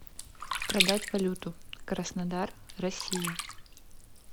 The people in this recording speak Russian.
продать валюту краснодар россия